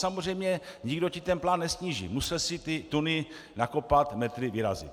Samozřejmě nikdo ti ten plán nesníží, musel jsi ty tuny nakopat, metry vyrazit.